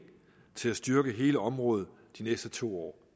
til at styrke hele området de næste to år